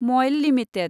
मयल limited